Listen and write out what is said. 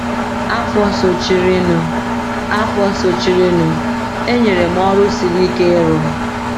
Afọ sochirinụ, Afọ sochirinụ, e nyere m ọrụ siri ike ịrụ.